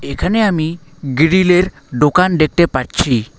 এখানে আমি গ্রিল -এর দোকান দেখতে পাচ্ছি।